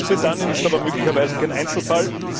Großbritannien ist aber möglicherweise kein Einzelfall.